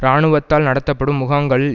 இராணுவத்தால் நடத்தப்படும் முகாங்களில்